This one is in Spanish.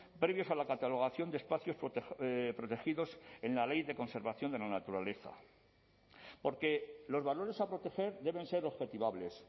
previos a la catalogación de espacios protegidos en la ley de conservación de la naturaleza porque los valores a proteger deben ser objetivables